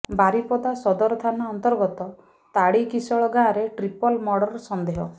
ବାରିପଦା ସଦର ଥାନା ଅନ୍ତର୍ଗତ ତାଡିକିଶଳ ଗାଁରେ ଟ୍ରିପଲ୍ ମର୍ଡର ସନ୍ଦେହ